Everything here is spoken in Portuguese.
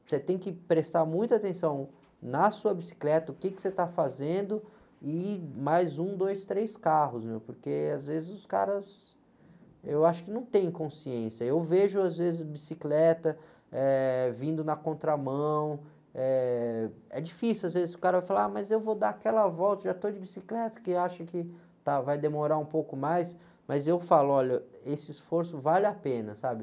você tem que prestar muita atenção na sua bicicleta, o quê que você está fazendo, e mais um, dois, três carros, porque às vezes os caras, eu acho que não têm consciência, eu vejo às vezes bicicleta, eh, vindo na contramão, eh, é difícil, às vezes o cara vai falar, ah, mas eu vou dar aquela volta, já estou de bicicleta, que acha que, tá, vai demorar um pouco mais, mas eu falo, olha, esse esforço vale a pena, sabe?